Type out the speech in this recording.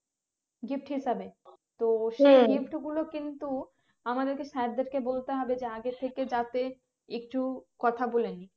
gift হিসাবে তো gift গুলো কিন্তু আমাদেরকে sir দেরকে বলতে হবে যে আগে থেকে যাতে একটু কথা বলে নিই